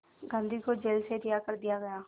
गांधी को जेल से रिहा कर दिया गया